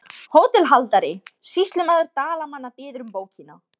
HÓTELHALDARI: Sýslumaður Dalamanna biður um bókina.